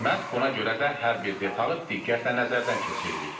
Məhz buna görə də hər bir detalı diqqətlə nəzərdən keçiririk.